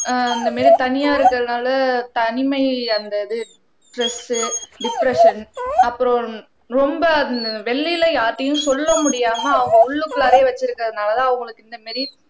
ஆஹ் இந்த மாதிரி தனியா இருக்கறதுனால தனிமை அந்த இது ஸ்ட்ரெஸ் டிப்ரெஸ்ஸன் அப்புறம் ரொம்ப வெளியில யார்கிட்டயும் சொல்ல முடியாம அவங்க உள்ளுக்குள்ளாறயே வெச்சிருக்கறதுனாலதான் அவங்களுக்கு இந்த மாரி